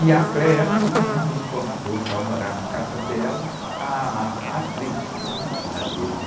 E a me convidou para morar na casa dela, ah, ah, a atriz da tê-vê.